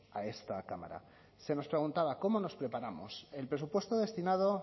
a esta cámara se nos preguntaba cómo nos preparamos el presupuesto destinado